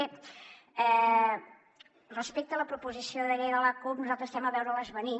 bé respecte a la proposició de llei de la cup nosaltres estem a veure les venir